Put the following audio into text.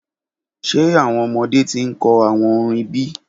Ṣe awọn ọmọde ti nkọ awọn orin bi?